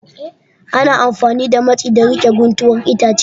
Ana amfani da matsi don riƙe guntuwar itace